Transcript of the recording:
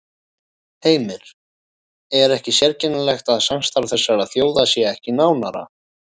Heimir: Er ekki sérkennilegt að samstarf þessara þjóða sé ekki nánara?